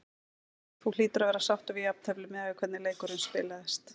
Þú hlýtur að vera sáttur við jafntefli miðað við hvernig leikurinn spilaðist?